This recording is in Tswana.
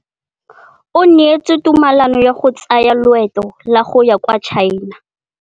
O neetswe tumalanô ya go tsaya loetô la go ya kwa China.